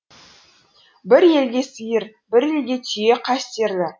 бір елге сиыр бір елге түйе қастерлі